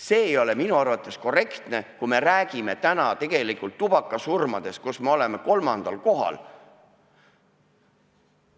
See ei ole minu arvates korrektne, kui me räägime täna tegelikult tubakasurmadest, millega me oleme kolmandal kohal.